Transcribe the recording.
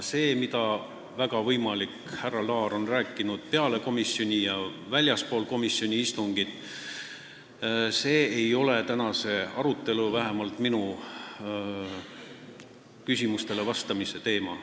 See, mida härra Laar on rääkinud peale komisjoni istungit ja väljaspool komisjoni istungit, ei ole tänase arutelu, vähemalt mitte minule esitatud küsimustele vastamise teema.